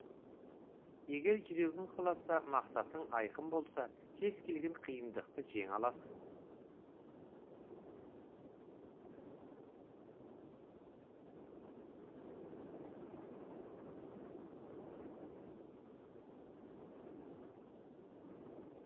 егер жүрегің қаласа мақсатың айқын болса кез келген қиындықты жеңе аласың